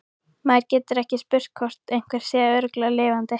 Maður getur ekki spurt hvort einhver sé ekki örugglega lifandi